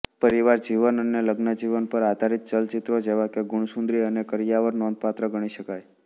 પરિવાર જીવન અને લજ્ઞજીવન પર આધારિત ચલચિત્રો જેવાંકે ગુણસુંદરી અને કરિયાવર નોંધપાત્ર ગણી શકાય